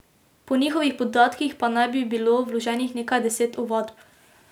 Po njihovih podatkih pa naj bi bilo vloženih nekaj deset ovadb.